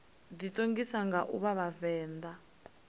ḓiṱongisa nga u vha vhavenḓa